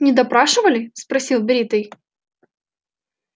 не допрашивали спросил бритый